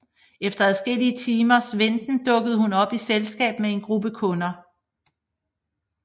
Efter adskillige timers venten dukker hun op i selskab med en gruppe kunder